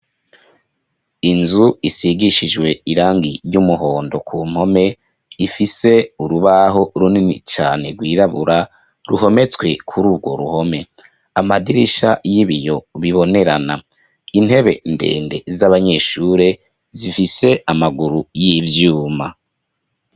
Inzu isigishijwe irangi ry'umuhondo ku mpome, ifise urubaho runini cane rwirabura, ruhometswe kuri urwo ruhome; amadirisha y'ibiyo bibonerana, intebe ndende z'abanyeshure, zifise amaguru y'ivyuma.